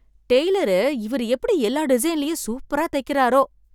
Taylor இவர் எப்படி எல்லா டிசைன்லயும் சூப்பரா தைக்கிறாரோ!